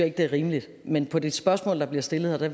ikke det er rimeligt men på det spørgsmål der bliver stillet vil